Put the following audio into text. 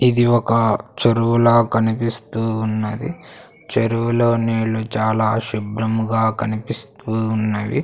ఇది ఒక చెరువులా కనిపిస్తూ ఉన్నది చెరువులో నీళ్లు చాలా శుభ్రంగా కనిపిస్తూ ఉన్నవి.